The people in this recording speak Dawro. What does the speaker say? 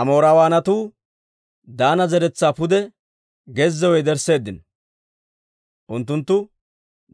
Amoorawaanatu Daana zeretsaa pude gezziyaw yedersseeddino; unttunttu